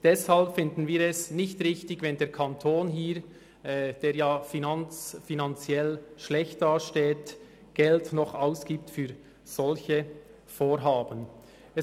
Deshalb finden wir es nicht richtig, wenn der Kanton, der sich finanziell in einer schlechten Situation befindet, für solche Vorhaben noch Geld ausgibt.